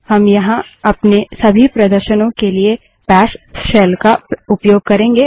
हम यहाँ अपने सभी प्रदर्शनों के लिए बैश शेल का उपयोग करेंगे